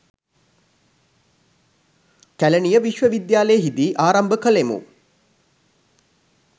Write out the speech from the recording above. කැලණිය විශ්වවිද්‍යාලයෙහි දී ආරම්භ කළෙමු